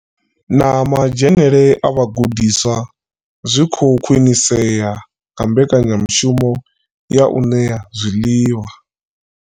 Na madzhenele a vhagudiswa zwi khou khwinisea nga mbekanyamushumo ya u ṋea zwiḽiwa.